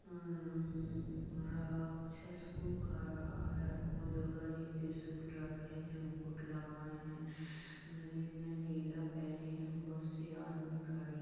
हमम राक्षस को खा रहा है और दुर्गा जी त्रिशूल रखे हैं मुकुट लगाए हैं गले में ढीला पहनी है बहुत से आदमी खड़े --